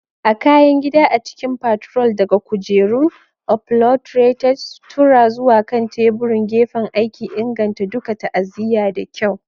A kayan gida a cikin partror, daga kujerun upholretered suttura zuwa kan teburin gefen aiki, inganta duka ta'aziyya da kyau.